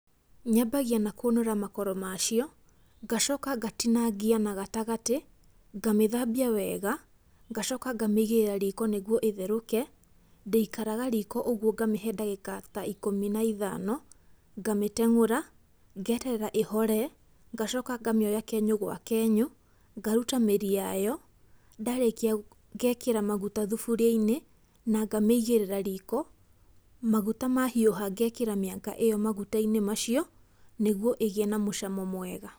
Nyambagia na kũnũra makoro macio, ngacoka ngatinangia na gatagatĩ, ngamĩthambia wega, ngacoka ngamĩigĩrĩra riko nĩguo ĩtherũke, ndĩikaraga riko ũguo, ngamĩhe ndagĩka ta ikũmi na ithano, ngamĩtengũra, ngeterera ĩhore, ngacoka ngamĩoya kenyũ gwa kenyũ, ngaruta mĩri yayo. Ndarĩkia, ngekĩra maguta thuburia-inĩ, na ngamĩigĩrĩra riko. Maguta mahiũha ngekĩra mĩanga ĩyo maguta-inĩ macio, nĩguo ĩgĩe na mũcamo mwega.